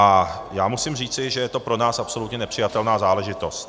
A já musím říci, že je to pro nás absolutně nepřijatelná záležitost.